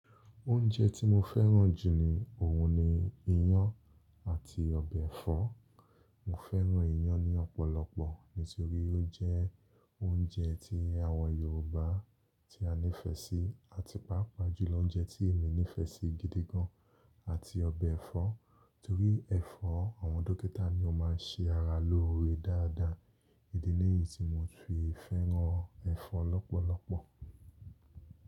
Oúnjẹ tí mo fẹ́ràn jù ni òun ni iyán àti ọbẹ̀ ẹ̀fọ́. Mo fẹ́ràn iyán ní ọ̀pọ̀lọpọ̀ nítorí ó jẹ́ oúnjẹ ti àwọn Yorùbá tí a nífẹ̀ẹ́ sí, àti pàápàá jùlọ oúnjẹ tí èmi nífẹ̀ẹ́ sí gidi gan àti ọbẹ̀ ẹ̀fọ́ nítorí ẹ̀fọ́ àwọn dókítà ni ó máa ń ṣe ara lóore dáadáa. Idí niyí tí mo fi fẹ́ràn ẹ̀fọ́ lọ́pọ̀lọpọ̀.